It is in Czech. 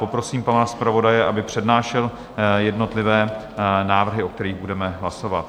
Poprosím pana zpravodaje, aby přednášel jednotlivé návrhy, o kterých budeme hlasovat.